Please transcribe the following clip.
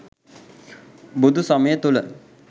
බුදු සමය තුළ